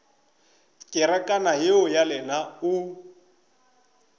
kerekana yeo ya lena o